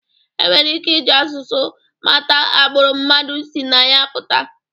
E nwere ike iji asụsụ mata agbụrụ mmadụ si na ya pụta